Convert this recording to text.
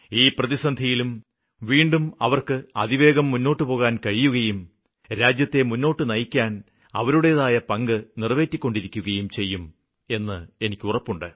ഈ പ്രതിസന്ധിയിലും വീണ്ടും അവര്ക്ക് അതിവേഗം മുന്നോട്ട് പോകുവാന് കഴിയുകയും രാജ്യത്തെ മുന്നോട്ടു നയിക്കാന് അവരുടേതായ പങ്ക് നിറവേറ്റിക്കൊണ്ടിരിക്കുകയും ചെയ്യും എന്ന് എനിക്ക് ഉറപ്പുണ്ട്